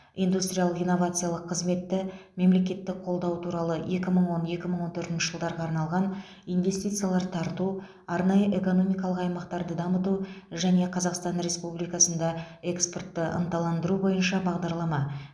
индустриялық инновациялық қызметті мемлекеттік қолдау туралы екі мың он екі мың он төртінші жылдарға арналған инвестициялар тарту арнайы экономимкалық аймақтарды дамыту және қазақстан республикасында экспортты ынталандыру бойынша бағдарлама